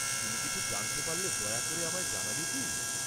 তুমি কিছু জানতে পারলে দয়া করে আমায় জানাবে কি?